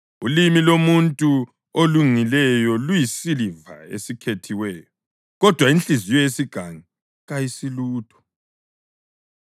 Ulimi lomuntu olungileyo luyisiliva esikhethiweyo, kodwa inhliziyo yesigangi kayisilutho.